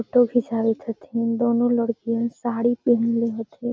photo खींचावत हथिन दोनों लडकियन साड़ी पहलने हथिन |